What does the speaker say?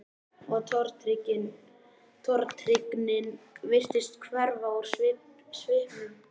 Og tortryggnin virtist hverfa úr svipnum.